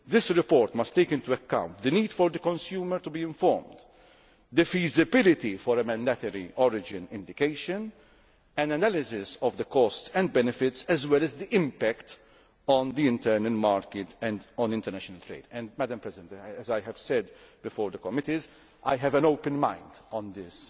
as well. This report must take into account the need for the consumer to be informed, the feasibility for a mandatory origin indication, and an analysis of the costs and benefits, as well as the impact on the internal market and on international trade. As I said before the committees, I have an open mind